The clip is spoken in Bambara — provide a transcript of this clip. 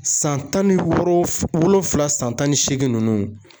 San tan ni worof wolonfula san tan ni seegin ninnu